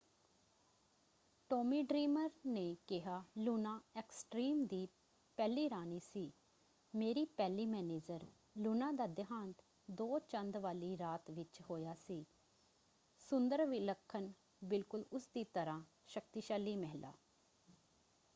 Tommy Dreamer ਨੇ ਕਿਹਾ Luna Extreme ਦੀ ਪਹਿਲੀ ਰਾਣੀ ਸੀ। ਮੇਰੀ ਪਹਿਲੀ ਮੈਨੇਜਰ। ਲੂਨਾ ਦਾ ਦੇਹਾਂਤ ਦੋ ਚੰਦ ਵਾਲੀ ਰਾਤ ਵਿੱਚ ਹੋਇਆ ਸੀ। ਸੁੰਦਰ ਵਿਲੱਖਣ ਬਿਲਕੁਲ ਉਸਦੀ ਤਰ੍ਹਾਂ। ਸ਼ਕਤੀਸ਼ਾਲੀ ਮਹਿਲਾ।